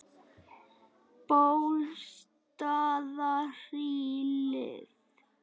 Bólstaðarhlíð